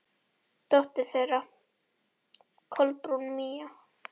Dóttir þeirra: Kolbrún Mía.